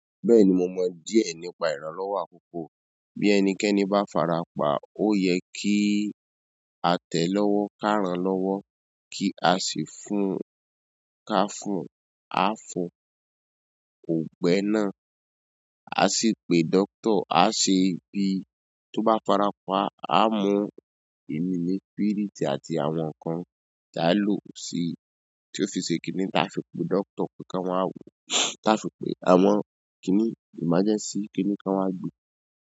Bẹ́ẹ̀ni, mo mọ díẹ̀ nípa ìrànlọ́wọ́ àkókò. Bí ẹnikẹ́ni bá farapa, ó yẹ kíí. A tẹ̀ẹ́ lọ́wọ́, ká ràn-án lọ́wọ́. Kí a sì fún-un. Ká fún-un. A fún-un. Ọgbẹ́ náà, a sì pe doctor, a ṣe ibí tó bá farapa a mú-un. Ẹ̀mi ni spírìtì àti àwọn ǹkan tí a lò sí tí ó fi ṣe kiní ta fi pe doctor pé kí wọ́n wá wò ó ta fi pe àwọn kiní ìmájẹ́ńsí kiní kí wọ́n wá gbe.